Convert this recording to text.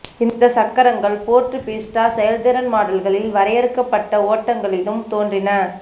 இந்த சக்கரங்கள் Ford Fiesta செயல்திறன் மாடல்களின் வரையறுக்கப்பட்ட ஓட்டங்களிலும் தோன்றின